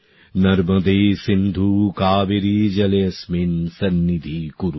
নর্মদে সিন্ধু কাবেরী জলে অস্মিন্ সন্নিধি কুরু